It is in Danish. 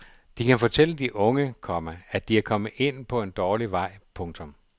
De kan fortælle de unge, komma at de er kommet ind på at dårlig vej. punktum